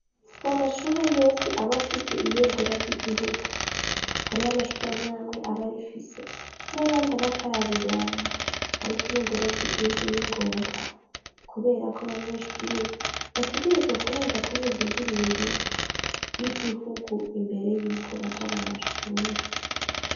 sa mashure yose abafise ibendera ry'igihugu hari amashuri mwamwe abarifise n'ayandi batararironka ariko ibendera ry'igihugu n'ingombwa kuberako abanyeshuri bategerezwa kubanza kurimba indirimbo y'igihugu imbere yuko baja mu mashuri